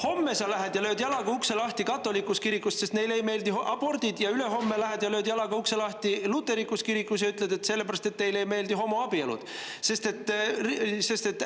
Homme sa lähed ja lööd jalaga ukse lahti katoliku kirikus, sest neile ei meeldi abordid, ja ülehomme lähed ja lööd jalaga ukse lahti luterlikus kirikus, sest neile ei meeldi homoabielud.